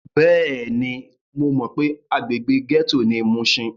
Bẹ́ẹ̀ni, mo mọ pé agbègbè gẹ́tò ni mushin.